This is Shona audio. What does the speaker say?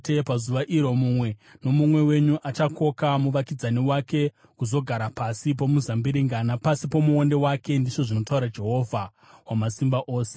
“ ‘Pazuva iro mumwe nomumwe wenyu achakoka muvakidzani wake kuzogara pasi pomuzambiringa napasi pomuonde wake,’ ndizvo zvinotaura Jehovha Wamasimba Ose.”